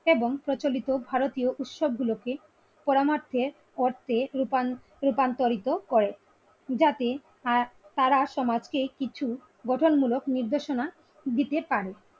এবং প্রচলিত ভারতীয় উৎসব গুলোকের পরমার্থের রুপান রূপান্তরিত করেন যাতে আহ তারা সমাজকে কিছু গঠনমূলক নির্দেশনা দিতে পারে।